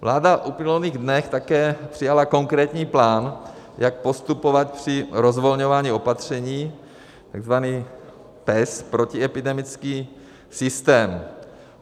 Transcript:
Vláda v uplynulých dnech také přijala konkrétní plán, jak postupovat při rozvolňování opatření, tzv. PES, protiepidemický systém.